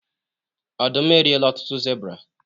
ọdum eriela ọtụtụ zebra